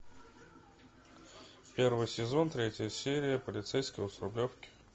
первый сезон третья серия полицейского с рублевки